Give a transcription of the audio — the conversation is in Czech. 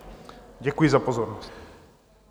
Děkuji za pozornost.